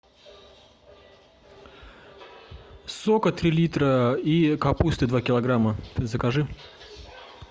сока три литра и капусты два килограмма закажи